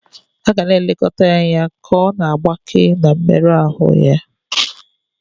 A ga na-elekọta ya anya ka ọ na-agbake na mmerụ ahụ ya.